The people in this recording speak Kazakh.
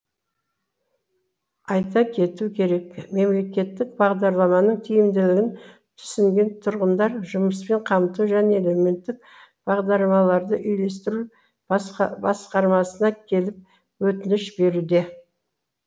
айта кету керек мемлекеттік бағдарламаның тиімділігін түсінген тұрғындар жұмыспен қамту және әлеуметтік бағдарламаларды үйлестіру басқармасына келіп өтініш беруде